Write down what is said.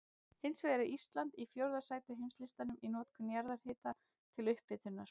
Hins vegar er Ísland í fjórða sæti á heimslistanum í notkun jarðhita til upphitunar.